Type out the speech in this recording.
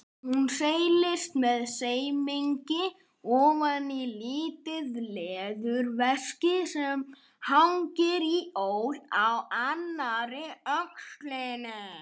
Hún seilist með semingi ofan í lítið leðurveski sem hangir í ól á annarri öxlinni.